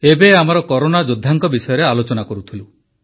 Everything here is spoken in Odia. ଏବେ ଆମେ ଆମର କରୋନା ଯୋଦ୍ଧାଙ୍କ ବିଷୟରେ ଆଲୋଚନା କରୁଥିଲୁ